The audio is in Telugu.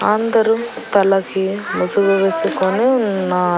అందరూ తలకి ముసుగు వేసుకొని ఉన్నా--